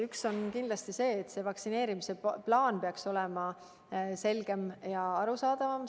Üks on kindlasti see, et vaktsineerimise plaan peaks olema selgem ja arusaadavam.